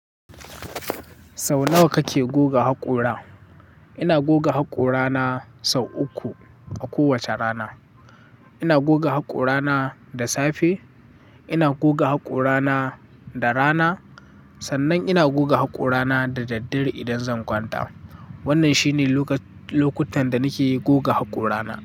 Sau nawa kake goga haƙora? Ina goga haƙorana sau uku a kowace rana. Ina goga haƙorana da safe, ina goga haƙorana da rana, sannan ina goga haƙorana da daddare idan zan kwanta. Wannan shine lokutan da nake goga haƙorana.